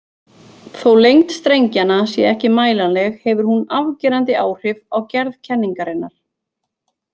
Þó lengd strengjanna sé ekki mælanleg hefur hún afgerandi áhrif á gerð kenningarinnar.